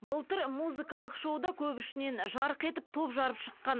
былтыр музыкалық шоуда көп ішінен жарқ етіп топ жарып шыққан